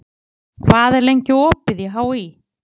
París, hvað er lengi opið í HÍ?